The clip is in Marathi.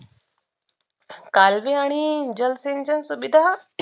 कालवे आणि जल सिंचन सुविधा